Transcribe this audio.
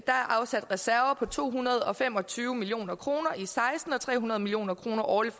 er afsat reserver på to hundrede og fem og tyve million kroner i seksten og tre hundrede million kroner årligt